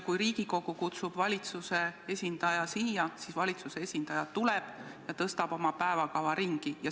Kui Riigikogu kutsub valitsuse esindaja siia, siis valitsuse esindaja tõstab oma päevakava ümber ja tuleb.